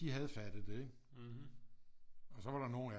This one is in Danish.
De havde fattet det ikke og så var der nogle af dem